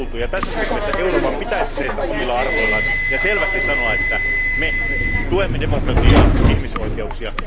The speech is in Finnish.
Tässä suhteessa Euroopan pitäisi seistä omilla arvoillaan ja selvästi sanoa, että me tuemme demokratiaa ja ihmisoikeuksia.